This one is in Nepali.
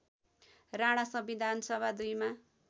राणा संविधानसभा २ मा